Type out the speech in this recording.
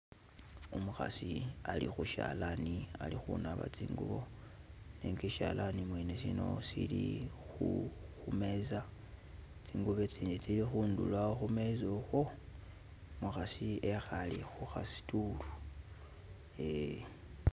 Umukhasi ali khu shalani ali khu naba tsingubo nenga ishalani mwene sino sili khu meza, tsingubo itsindi tsili khundulo awo khu meza ukhwo umukhasi ali khu kha stool eh.